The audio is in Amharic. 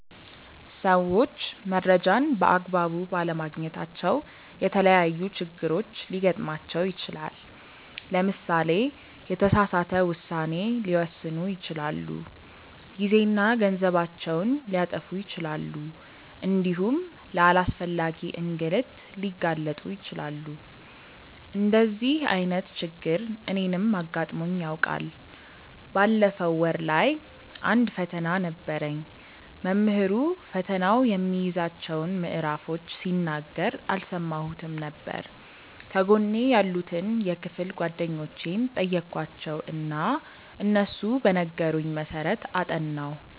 ሰዎች መረጃን በ አግባቡ ባለማግኘታቸው የተለያዪ ችግሮች ሊገጥማቸው ይችላል። ለምሳሌ የተሳሳተ ውሳኔ ሊወስኑ ይችላሉ፣ ጊዜና ገንዘባቸውን ሊያጠፉ ይችላሉ እንዲሁም ለአላስፈላጊ እንግልት ሊጋለጡ ይችላሉ። እንደዚህ አይነት ችግር እኔንም አጋጥሞኝ ያውቃል። ባለፈው ወር ላይ አንድ ፈተና ነበረኝ። መምህሩ ፈተናው የሚይዛቸውን ምዕራፎች ሲናገር አልሰማሁትም ነበር። ከጎኔ ያሉትን የክፍል ጓደኞቼን ጠየኳቸው እና እነሱ በነገሩኝ መሰረት አጠናሁ።